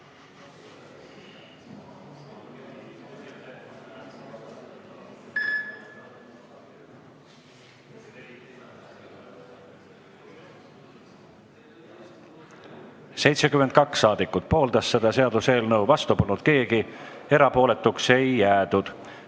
Hääletustulemused 72 saadikut pooldas seda seaduseelnõu, vastu polnud keegi, erapooletuks ei jäädud.